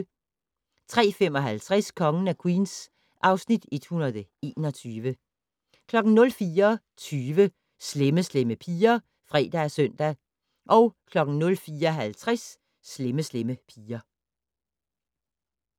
03:55: Kongen af Queens (Afs. 121) 04:20: Slemme Slemme Piger (fre og søn) 04:50: Slemme Slemme Piger